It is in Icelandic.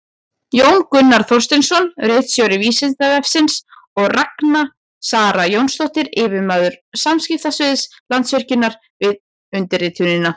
Jón Gunnar Þorsteinsson, ritstjóri Vísindavefsins, og Ragna Sara Jónsdóttir, yfirmaður samskiptasviðs Landsvirkjunar, við undirritunina.